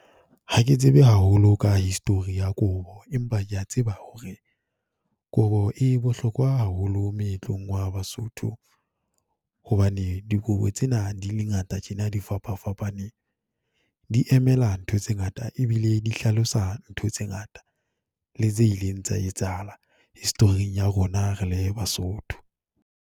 Ha ke tsebe haholo ka history ya kobo, empa ke ya tseba hore kobo e bohlokwa haholo meetlong wa Basotho, hobane dikobo tsena di le ngata tjena, di fapafapane, di emela ntho tse ngata e bile di hlalosa ntho tse ngata le tse ileng tsa etsahala, history-ing ya rona re le Basotho.